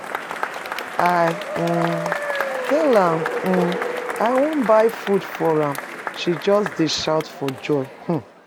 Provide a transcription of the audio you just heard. I um tell am um I wan buy food for am ,she just dey shout for joy. um